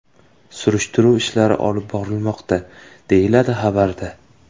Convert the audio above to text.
Surishtiruv ishlari olib borilmoqda, deyiladi xabarda.